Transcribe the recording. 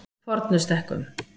Fornustekkum